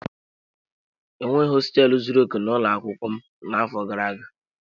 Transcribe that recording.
E nweghị hosteelu zuru okè n'ụlọ akwụkwọ m n'afọ gara aga.